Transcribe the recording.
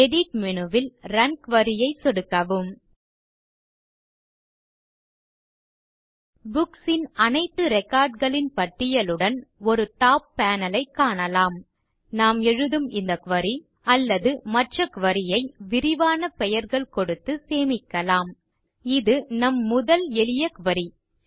edit menu ல் run குரி ஐ சொடுக்கவும் நாம் எழுதும் இந்த குரி அல்லது மற்ற குரி ஐ விரிவான பெயர்கள் கொடுத்து சேமிக்கலாம் இது நம் முதல் எளிய குரி